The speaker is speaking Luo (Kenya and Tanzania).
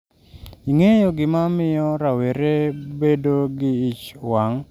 ingeyo gima miyo rowere bado gi ich wang' seche ma otuon gi sim